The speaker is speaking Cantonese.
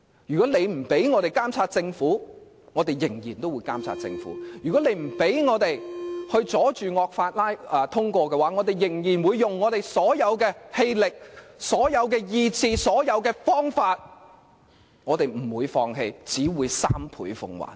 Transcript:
如果他們不讓我們監察政府，我們仍會監察政府；如果他們不讓我們阻止惡法通過，我們仍會使用我們所有氣力、意志和方法，我們不會放棄，只會三倍奉還。